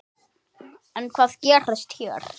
En hvað gerist hér?